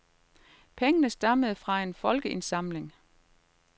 Pengene stammede fra en folkeindsamling.